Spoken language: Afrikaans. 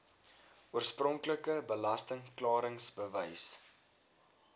oorspronklike belasting klaringsbewys